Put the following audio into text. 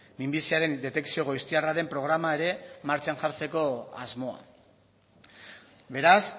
minbiziaren detekzio goiztiarraren programa ere martxan jartzeko asmoa beraz